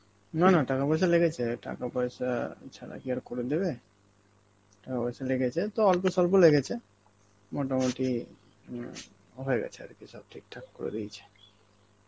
না না টাকা পয়সা লেগেছে, টাকা পয়সা ছাড়া কি আর করে দেবে? টাকা পয়সা লেগেছে, তো অল্পস্বল্প লেগেছে, মোটামুটি হম হয়ে গেছে আরকি সব ঠিকঠাক করে দিয়েছে.